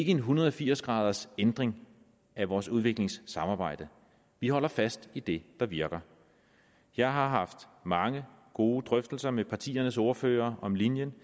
en hundrede og firs graders ændring af vores udviklingssamarbejde vi holder fast i det der virker jeg har haft mange gode drøftelser med partiernes ordførere om linjen